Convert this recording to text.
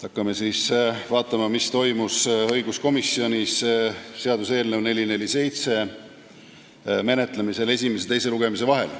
Hakkame siis vaatama, mis toimus õiguskomisjonis seaduseelnõu 447 esimese ja teise lugemise vahel.